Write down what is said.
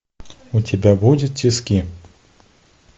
у тебя будет тиски